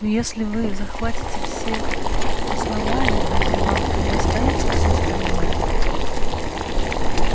но если вы захватите все основание разве вам не достанется всё остальное